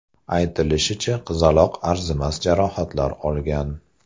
Aytilishicha, qizaloq arzimas jarohatlar olgan.